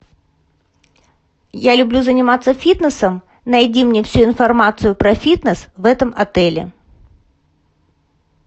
я люблю заниматься фитнесом найди мне всю информацию про фитнес в этом отеле